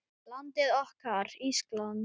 Landið okkar, Ísland.